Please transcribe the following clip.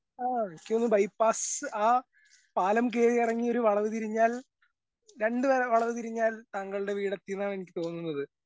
ആ എനിക്ക് തോന്നുന്നു ബൈപാസ്സ് ആ പാലം കേറി എറങ്ങി ഒരു വളവ് തിരിഞ്ഞാൽ രണ്ട് വ വളവ് തിരിഞ്ഞാൽ താങ്കളുടെ വീടെത്തീന്നാണെനിക്ക് തോന്നുന്നത്.